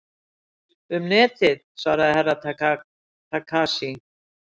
Um Netið, svaraði Herra Takashi.